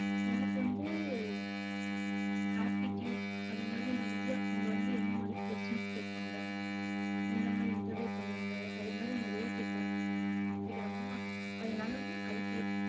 எனக்கு வந்து aptittude அது மாதிரி நிறைய அவங்க வந்து என்ன மாதிரி questions கேட்பாங்க எந்த மாதிரி interview பண்ணுவாங்க. அது மாதிரி நிறைய கேட்கறா~ கேட்கறாங்களா அதனாலதான், அதுக்கு ஏத்~